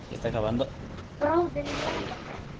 Bráðin lak af þeim.